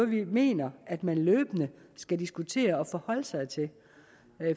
vi mener at man løbende skal diskutere og forholde sig til